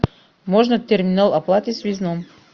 можно терминал оплаты в связном